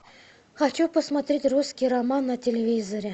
хочу посмотреть русский роман на телевизоре